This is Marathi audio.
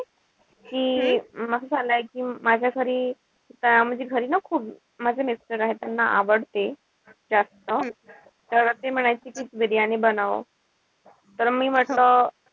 कि असं झालंय कि माझ्या घरी म्हणजे घरी ना खूप माझे mister आहे त्यांना आवडते. जास्त तर ते म्हणायचे कि बिर्याणी बनव. तर मी म्हंटल,